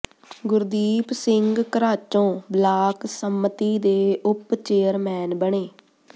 ਗੁਰਦੀਪ ਸਿੰਘ ਘਰਾਚੋਂ ਬਲਾਕ ਸੰਮਤੀ ਦੇ ਉਪ ਚੇਅਰਮੈਨ ਬਣੇ